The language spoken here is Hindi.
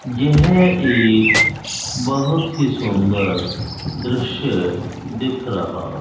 यह एक बहुत ही सुंदर दृश्य दिख रहा।